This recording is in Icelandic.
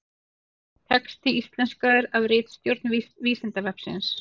Texti íslenskaður af ritstjórn Vísindavefsins.